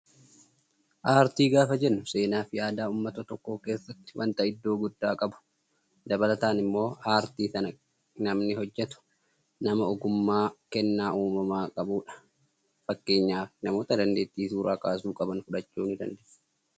Aartii gaafa jennu seenaa fi aadaa uummata tokkoo keessatti wanta iddoo guddaa qabu dabalataan immoo aartii sana namni hojjatu, nama ogummaa kennaa uumamaan qabudha. Fakkeenyaaf namoota dandeettii suuraa kaasuu qaban fudhachuu dandeenya